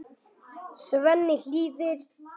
Svenni hlýðir.